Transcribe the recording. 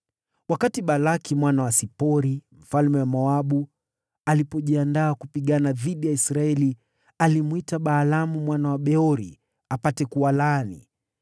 Wakati Balaki mwana wa Sipori, mfalme wa Moabu, alipojiandaa kupigana dhidi ya Israeli, alimwita Balaamu mwana wa Beori apate kuwalaani.